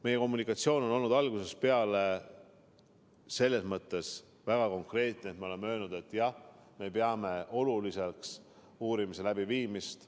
Meie kommunikatsioon on olnud algusest peale selles mõttes väga konkreetne, et me oleme öelnud, et jah, me peame oluliseks uurimise läbiviimist.